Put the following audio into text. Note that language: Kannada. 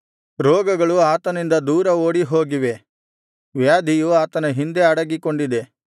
ರೋಗಗಳು ಆತನಿಂದ ದೂರ ಓಡಿ ಹೋಗಿವೆ ವ್ಯಾಧಿಯು ಆತನ ಹಿಂದೆ ಅಡಗಿಕೊಂಡಿದೆ